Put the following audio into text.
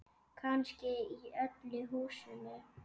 Kannski í öllu húsinu.